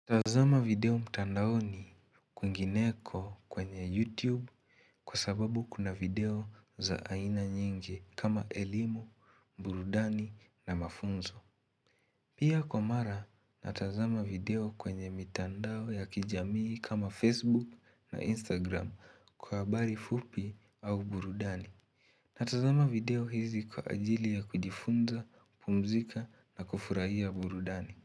Natazama video mtandaoni kwingineko kwenye YouTube kwa sababu kuna video za aina nyingi kama elimu, burudani na mafunzo Pia kwa mara natazama video kwenye mitandao ya kijamii kama Facebook na Instagram kwa habari fupi au burudani Natazama video hizi kwa ajili ya kujifunza, kupumzika na kufurahia burudani.